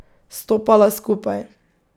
Stopala skupaj.